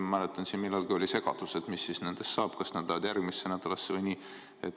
Ma mäletan, et millalgi oli segadus, mis siis nendest saab, kas need lähevad järgmisse nädalasse või kuidas.